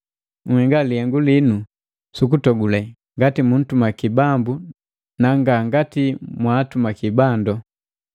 Nhenga lihengu linu sukutogule ngati muntumaki Bambu na nga ngati mwaatumaki bandu.